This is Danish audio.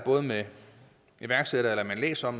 med iværksættere eller læser